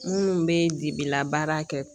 Minnu bɛ dibila baara kɛ